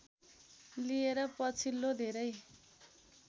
लिएर पछिल्लो धेरै